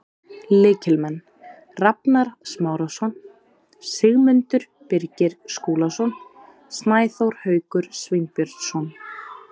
Lykilmenn: Rafnar Smárason, Sigmundur Birgir Skúlason, Snæþór Haukur Sveinbjörnsson.